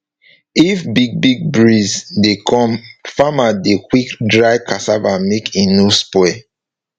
if big big breeze dey come farmer dey quick dry cassava make e no spoil